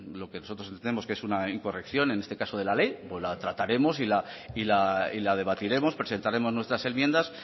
lo que nosotros entendemos que es una incorrección en este caso de la ley la trataremos y la debatiremos presentaremos nuestra enmienda